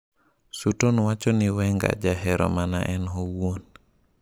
Sutton wacho ni Wenger jahero mana en owuon